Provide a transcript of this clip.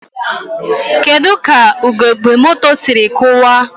Kedu ka ugogbe moto siri kụwaa?